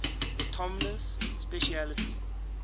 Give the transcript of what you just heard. autonomous specialty